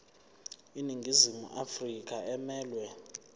iningizimu afrika emelwe